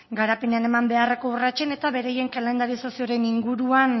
garapenean eman beharreko urratsen eta beraien kalendarizazioren